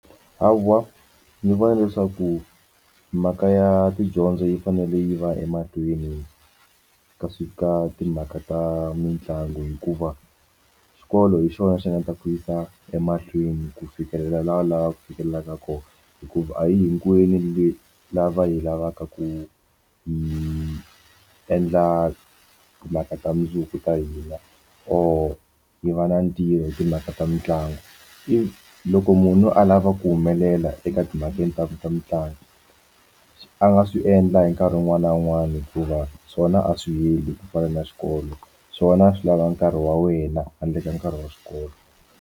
Hawa ni vona leswaku mhaka ya tidyondzo yi fanele yi va emahlweni ka swi ka timhaka ta mitlangu hikuva xikolo hi xona xi nga ta ku yisa emahlweni ku fikelela la lavaka fikelelaka kona hikuva a hi hinkwenu lava yi lavaka ku hi endla timhaka ta mundzuku ta hina or yi va na ntirho hi timhaka ta mitlangu if loko munhu a lava ku humelela eka timakeni ta ku ta mutlangi a nga swi endla hi nkarhi wun'wani na wun'wani hikuva swona a swi yimeli ku fana na swikolo swona a swi lava nkarhi wa wena handle ka nkarhi wa xikolo.